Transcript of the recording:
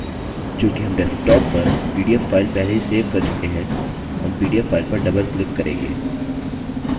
चूँकि हम desktop पर pdf file पहले ही सेव कर चुके हैं हम pdf file पर doubleclick करेंगे